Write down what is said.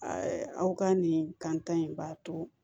aw ka nin kan in b'a to